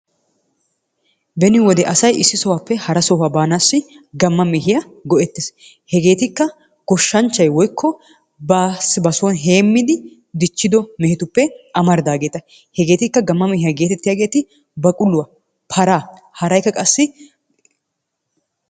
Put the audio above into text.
Beni wode asay issi sohuwaappe hara sohuwaa baanasi gamma mehiya goe'tees. Hegeetikka goshshanchchay woykko basi ba sooni heemidi dichchido mehetuppe amaridaagera. Hegeetikka gamma mehiya geetettiyaagetti baquluwa, paraa haraykka qassi